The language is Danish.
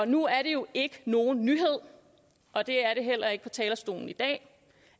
nu er det jo ikke nogen nyhed og det er det heller ikke talerstolen i dag